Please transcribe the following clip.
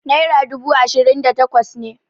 naira dubu ashirin da takwas ne